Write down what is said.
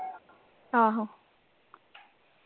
ਆਹੋ .